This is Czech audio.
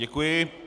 Děkuji.